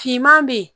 Finman bɛ ye